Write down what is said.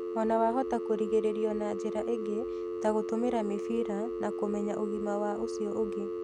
Ona wa hota kũrigĩrĩrio na njira ingĩ ta gũtũmĩra mĩbira na kumenya ũgima wa ũcio ũngĩ